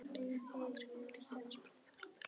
Er aldrei matartími, amma? spurði hún vesældarlega.